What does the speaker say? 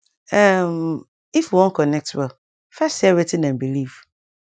um if u wan connect well first hear wetin dem belief